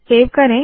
save करे